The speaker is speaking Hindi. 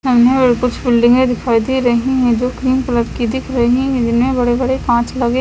सामने कुछ बिल्डिंग दिखाई दे रही है जो क्रीम कलर की दिख रही है जिनमे बड़े बड़े कांच लगे--